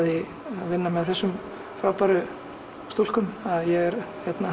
vinna með þessum frábæru stúlkum að ég er